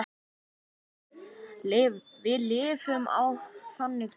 Við lifum á þannig tímum.